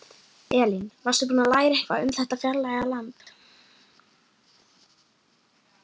Elín: Varstu búin að læra eitthvað um þetta fjarlæga land?